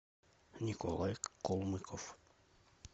николай колмыков